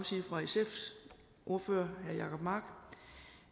sige fra sfs ordfører herre jacob mark